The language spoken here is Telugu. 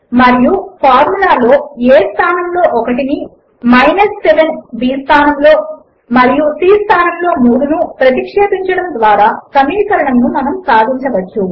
మరియు ఫార్ములాలో a స్థానములో 1 ని b స్థానములో 7 ను మరియు c స్థానములో 3 ను ప్రతిక్షేపించడము ద్వారా సమీకరణమును మనము సాధించవచ్చు